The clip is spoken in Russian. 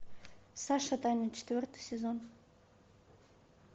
саша таня четвертый сезон